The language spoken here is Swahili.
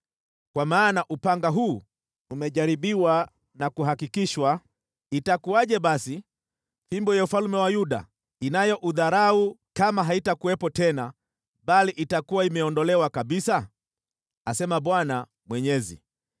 “ ‘Kwa maana upanga huu umejaribiwa na kuhakikishwa, itakuwaje basi fimbo ya ufalme ya Yuda inayoudharau kama haitakuwepo tena, bali itakuwa imeondolewa kabisa? asema Bwana Mwenyezi.’